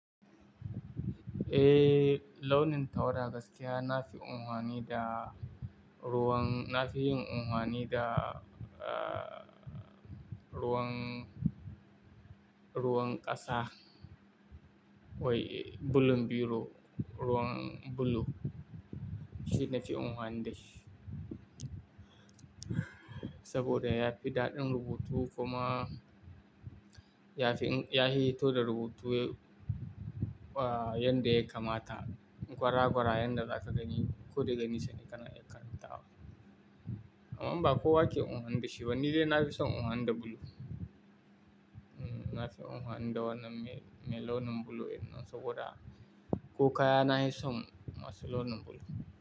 Eh, launin tawada gaskiya na fi anfani da ruwan, na fi yin anfani da, ah, ruwan, ruwan ƙasa. Wai, bulun biro, ruwan blue. Shi na fi unfani da shi. Saboda ya fi daɗin rubutu kuma ya fi, ya yi hito da rubutu, ah, yanda ya kamata. Gwara-gwara yanda za ka gani, ko da ganinsa ne ka na iya karantawa. Amma ba kowa ke unfani da shi ba, ni dai na fi son unuwani da blue. Mm, na fi unfani da wannan me, me launin blue, saboda kokaya na yi son masu launin blue.